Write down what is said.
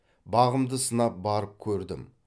бағымды сынап барып көрдім